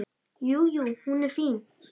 Jú, jú. hún er fín.